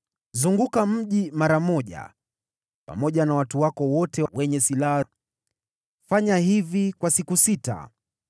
Zunguka mji mara moja pamoja na watu wote wenye silaha. Fanya hivi kwa siku sita.